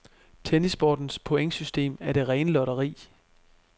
Tennissportens pointsystem er det rene lotteri.